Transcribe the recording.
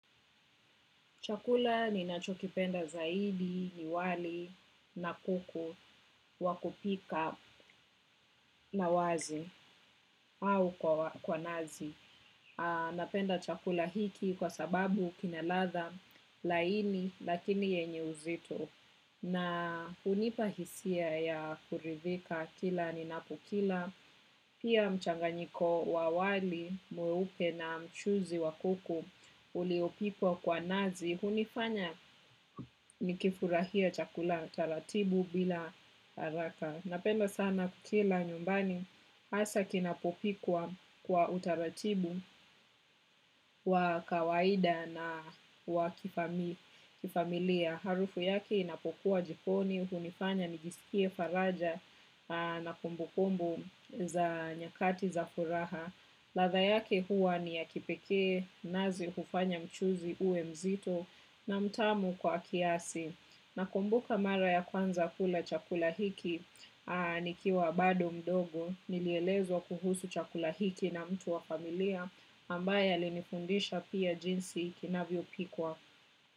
Chakula ninacho kipenda zaidi ni wali na kuku wa kupika na wazi au kwa nazi. Napenda chakula hiki kwa sababu kina ladha laini lakini yenye uzito. Na hunipa hisia ya kuridhika kila ninapokila. Pia mchanganyiko wa wali mweupe na mchuzi wa kuku uliopikwa kwa nazi. Hunifanya nikifurahie chakula taratibu bila haraka. Napenda sana kukila nyumbani hasa kinapopikwa kwa utaratibu wa kawaida na wa kifamilia. Harufu yake inapokuwa jikoni. Hunifanya nijisikie faraja na kumbu kumbu za nyakati za furaha. Ladha yake huwa ni ya kipekee nazi hufanya mchuzi uwe mzito na mtamu kwa kiasi. Nakumbuka mara ya kwanza kula chakula hiki nikiwa bado mdogo nilielezwa kuhusu chakula hiki na mtu wa familia ambaye alinifundisha pia jinsi kinavyo pikwa.